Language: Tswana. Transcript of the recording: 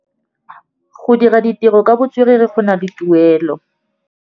Go dira ditirô ka botswerere go na le tuelô.